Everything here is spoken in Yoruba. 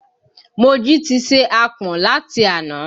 Mojí ti se ààpọ̀n láti àná